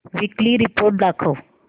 weekly report दाखव